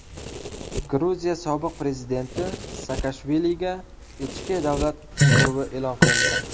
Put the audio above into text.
Gruziya sobiq prezidenti Saakashviliga ichki davlat qidiruvi e’lon qilindi.